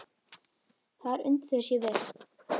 Þar undu þau sér vel.